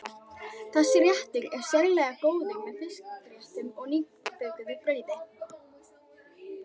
Þessi réttur er sérlega góður með fiskréttum og nýbökuðu brauði.